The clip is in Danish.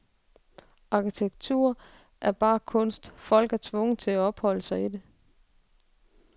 Arkitektur er bare kunst, folk er tvunget til at opholde sig i.